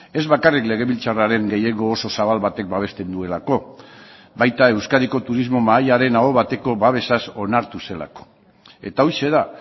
ez bakarrik legebiltzarraren gehiengo oso zabal batek babesten duelako baita euskadiko turismo mahaiaren aho bateko babesaz onartu zelako eta horixe da